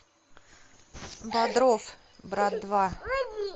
бодров брат два